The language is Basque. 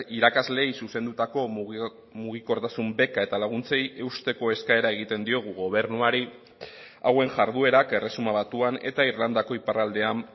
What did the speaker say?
irakasleei zuzendutako mugikortasun beka eta laguntzei eusteko eskaera egiten diogu gobernuari hauen jarduerak erresuma batuan eta irlandako iparraldean